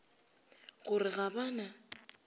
go re ga ba na